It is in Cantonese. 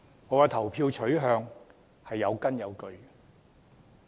我的投票取向是有根有據的。